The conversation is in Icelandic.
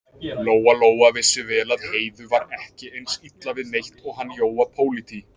Lóa-Lóa vissi vel að Heiðu var ekki eins illa við neitt og hann Jóa pólití.